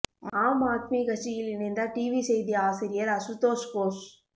ஆம் ஆத்மி கட்சியில் இணைந்தார் டிவி செய்தி ஆசிரியர் அசுதோஷ் கோஷ்